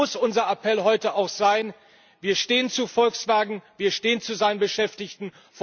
Deshalb muss unser Appell heute auch sein Wir stehen zu Volkswagen, wir stehen zu seinen Beschäftigten.